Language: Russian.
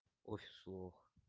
офис лох